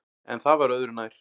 En það var öðu nær.